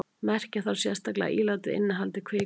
merkja þarf sérstaklega að ílátið innihaldi kvikasilfur